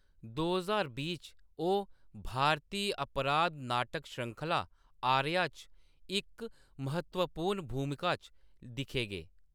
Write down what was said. दो ज्हार बीह् च, ओह्‌‌ भारती अपराध नाटक श्रृंखला, 'आर्या' च इक महत्वपूर्ण भूमका च दिक्खे गे।